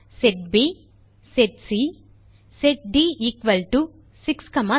set B set C set D equal to 6 7